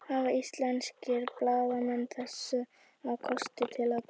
Hafa íslenskir blaðamenn þessa kosti til að bera?